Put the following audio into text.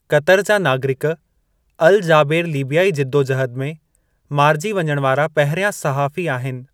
Qatar जा नागरिक Al Jaber लीबियाई जिद्दोजहदु में मारिजी वञणु वारा पहिरिया सहाफ़ी आहिनि।